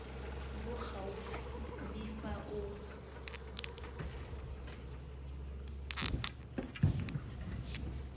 bo gaufi le fa o